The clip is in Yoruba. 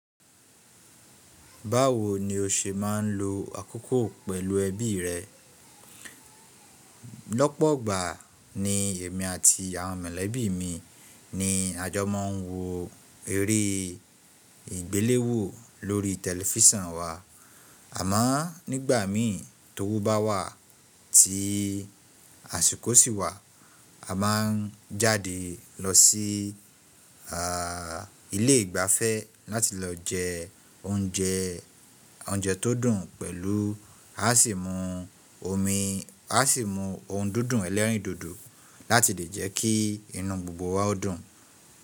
Báwo ni o ṣe máa ń lo àkókò pẹ̀lú ẹbí rẹ? Lọ́pọ̀gbà ni èmi àti àwọn mọ̀lẹ́bí mi ni a jọ máa ń wo eré ìgbéléwò lórí tẹlifísàn wa, àmá nígbà mírìn tó wù bá wà tí àsìkò sì wà, a máa jáde lọ sí à ilé ìgbafẹ́ láti lọ jẹ oúnjẹ oúnjẹ tó dùn pẹ̀lú a sì mú omi, a sì mú ohun dúdú ẹ̀lẹ́rìndòdò láti lè jẹ́ kí inú gbogbo wa dùn.